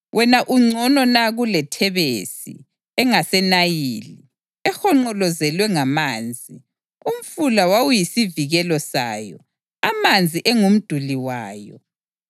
Wena ungcono na kuleThebesi engaseNayili, ehonqolozelwe ngamanzi? Umfula wawuyisivikelo sayo, amanzi engumduli wayo.